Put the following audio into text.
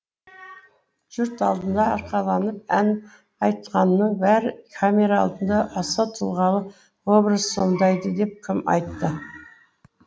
жұрт алдында арқаланып ән айтқанның бәрі камера алдында аса тұлғалы образ сомдайды деп кім айтты